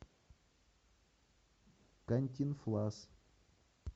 кантинфлас